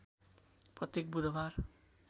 प्रत्येक बुधबार